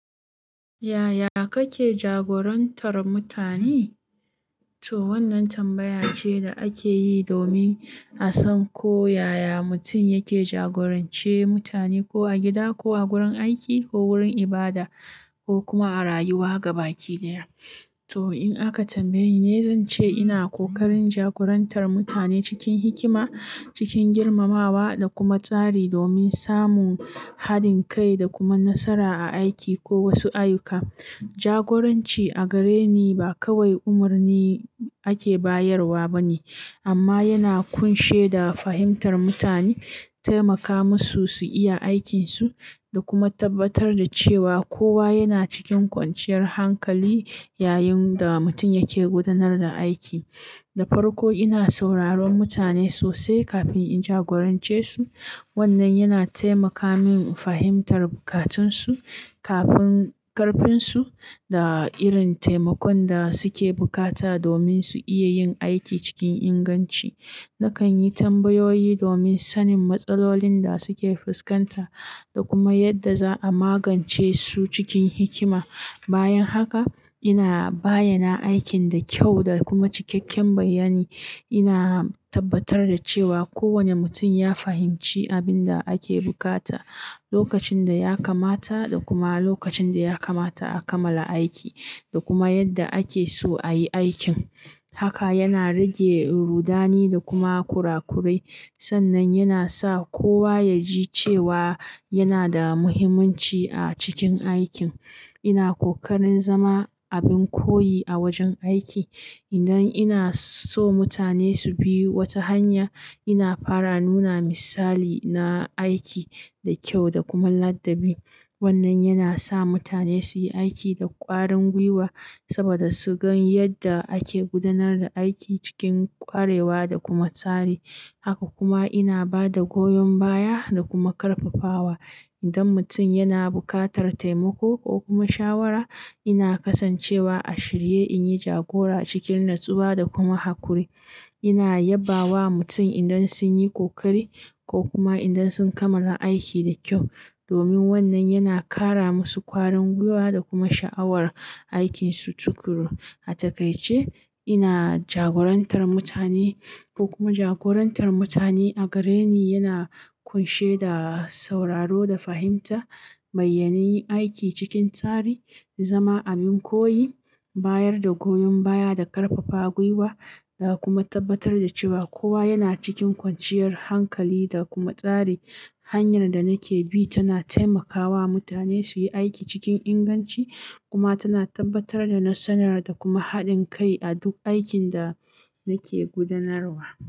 Yaya kake jagorantar mutane? To wannan tambaya ce da ake yi domin a san ko yaya mutum yake jagorance mutane, ko a gida, ko a wurin aiki, ko wurin ibada, ko kuma a rayuwa gaba ɗaya. To in aka tambaye ni, zan ce ina ƙoƙarin jagorantar mutane cikin hikima, cikin girmamawa da kuma tsari domin samun haɗin kai da kuma nasara a aiki ko wasu ayyuka. Jagoranci a gare ni ba kawai umarni ake bayarwa ba ne, amma yana ƙunshe da fahimtar mutane, taimaka musu su iya aikinsu, da kuma tabbatar da cewa kowa yana cikin kwanciyar hankali yayin da mutum yake gudanar da aiki. Da farko, ina sauraron mutane sosai kafin in jagorance su. Wannan yana taimaka min fahimtar bukatunsu, ƙarfin su, da irin taimakon da suke bukata domin su iya yin aiki cikin inganci. Nakan yi tambayoyi domin sanin matsalolin da suke fuskanta da kuma yadda za a magance su cikin hikima. Bayan haka, ina bayyana aikin da kyau da kuma cikakken bayyani. Ina tabbatar da cewa kowane mutum ya fahimci abin da ake bukata, lokacin da ya kamata, da kuma lokacin da ya kamata a kamala aiki, da kuma yadda ake so a yi aikin. Haka yana rage rudani da kuma kurakurai. Sannan yana sa kowa ya ji cewa yana da muhimmanci a cikin aikin. Ina ƙoƙarin zama abin koyi a wajen aiki. Idan ina so mutane su bi wata hanya, ina fara nuna misali na aiki da kyau da kuma ladabi. Wannan yana sa mutane su yi aiki da ƙarar guiwa saboda su gan yadda ake gudanar da aiki cikin ƙwarewa da kuma tsari. Haka kuma ina ba da goyon baya da kuma ƙarfafawa. Idan mutum yana buƙatar taimako ko kuma shawara, ina kasancewa a shirye in yi jagora cikin natsuwa da kuma haƙuri. Ina yabba wa mutane idan sun yi ƙoƙari ko kuma idan sun kamala aiki da kyau domin wannan yana ƙara musu kwarin guiwa da kuma sha'awar aikinsu tukuru. A takaice, ina jagorantar mutane ko kuma jagorantar mutane a gare ni yana ƙunshe da sauraro da fahimta, bayyanai aiki cikin tsari, zama abin koyi, bayar da goyon baya da ƙarfafa gwiwa, da kuma tabbatar da cewa kowa yana cikin kwanciyar hankali da kuma tsari. Hanyar da nake bi tana taimakawa mutane su yi aiki cikin inganci kuma tana tabbatar da nasara da kuma haɗin kai a duk aikin da nake gudanarwa.